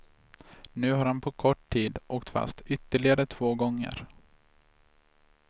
Nu har han på kort tid åkt fast ytterligare två gånger.